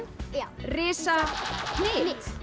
já risa hnit